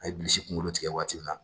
A ye bilisi kunkolo tigɛ waati min na